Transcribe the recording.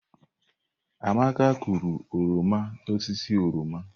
Amaka kụrụ oroma n'osisi oroma.